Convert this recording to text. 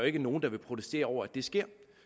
ikke nogen der vil protestere over at det sker